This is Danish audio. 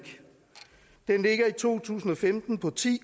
den ligger i to tusind og femten på ti